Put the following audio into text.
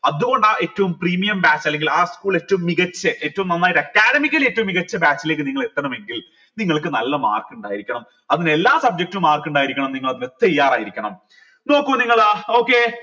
അതുകൊണ്ട് ഏറ്റവും premium batch അല്ലെങ്കിൽ ആ school ലെ ഏറ്റവും മികച്ച ഏറ്റവും നന്നായിട്ട് academic ൽ ഏറ്റവും മികച്ച batch ലേക്ക് നിങ്ങൾ എത്തണമെങ്കിൽ നിങ്ങൾക്ക് നല്ല mark ഉണ്ടായിരിക്കണം അതിനെല്ലാ subject ലും mark ഇണ്ടായിരിക്കണം നിങ്ങൾ അതിന് തയ്യാറായിരിക്കണം നോക്ക് നിങ്ങൾ okay